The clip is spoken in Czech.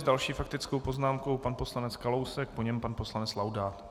S další faktickou poznámkou pan poslanec Kalousek, po něm pan poslanec Laudát.